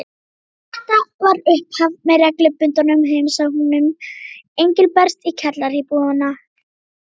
Og þetta varð upphaf að reglubundnum heimsóknum Engilberts í kjallaraíbúðina.